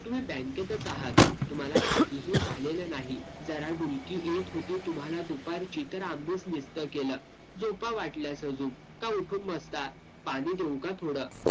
तुम्ही bank तच आहात. तुम्हाला काहीही झालेलं नाही. जरा डुलकी येत होती तुम्हाला दुपारची तर आम्हीच नसतं केलं. झोपा वाटल्यास अजून, का उठून बसता? पाणी देऊ का थोडं?